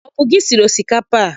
Ọ bụ gị siri osikapa a?